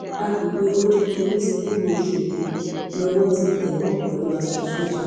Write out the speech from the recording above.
àgbègbè old police nílùú ọṣọgbó lowó ti tẹ wọn pẹlú aṣọ sójà